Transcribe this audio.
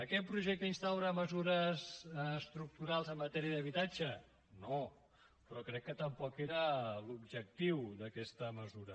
aquest projecte instaura mesures estructurals en matèria d’habitatge no però crec que tampoc era l’objectiu d’aquesta mesura